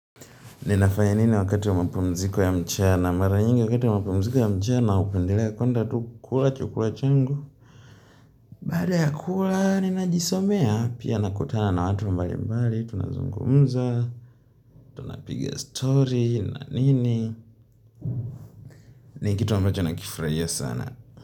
Ninafaya nini wakati wa mapamziko ya mchana? Mara nyingi wakati wa mapumziko ya mchana hupendelea kwenda tu kula chukula changu. Baada ya kula, ninajisomea, pia nakutana na watu mbalimbali, tunazungumza, tunapiga story na nini? Ni kitu ambacho nakifurahia sana.